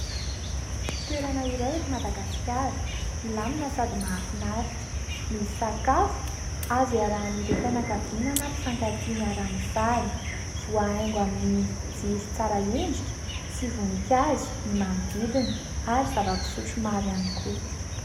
Toerana iray eto Madagasikara, milamina sady mahafinaritra, misy sakafo azo iarahan'ireo fianakaviana na mpifankatia miara-mifaly, voahaingo amin'ny jiro tsara endrika sy voninkazo ny manodidina ary zava-pisotro maro ihany koa.